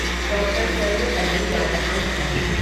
डॉ. सर्वपल्ली राधाकृष्णन